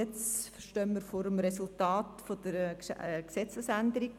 Jetzt stehen wir vor der Gesetzesänderung.